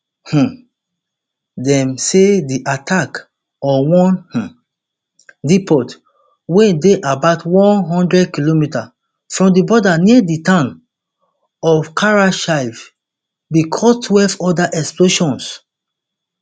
um dem say di attack on one um depot wey dey about one hundred km from di border near di town of karachev bin cause twelve oda explosions